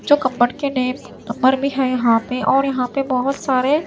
जो यहां पे और यहां पे बहोत सारे--